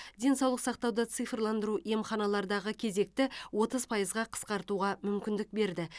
денсаулық сақтауды цифрландыру емханалардағы кезекті отыз пайызға қысқартуға мүмкіндік берді